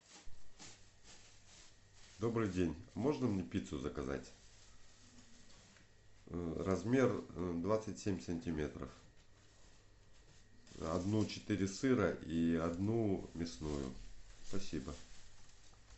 добрый день можно мне пиццу заказать размер двадцать семь сантиметров одну четыре сыра и одну мясную спасибо